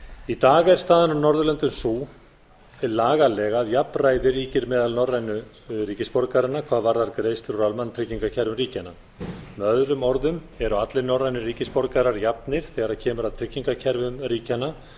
í dag er staðan á norðurlöndum sú lagalega að jafnræði ríkir meðal norrænu ríkisborgaranna hvað varðar greiðslur úr almannatryggingakerfum ríkjanna með öðrum orðum eru allir norrænir ríkisborgarar jafnir þegar kemur að tryggingakerfum ríkjanna